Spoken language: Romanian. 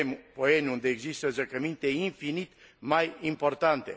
Poieni, unde există zăcăminte infinit mai importante.